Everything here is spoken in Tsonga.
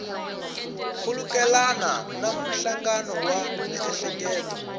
khulukelana na nhlangano wa miehleketo